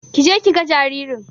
Kije kiga jaririn